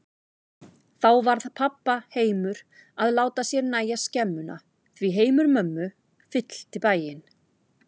Þá varð pabba heimur að láta sér nægja skemmuna, því heimur mömmu fyllti bæinn.